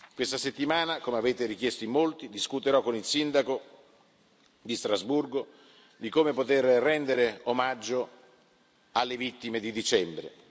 Questa settimana, come avete richiesto in molti, discuterò con il sindaco di Strasburgo di come poter rendere omaggio alle vittime di dicembre.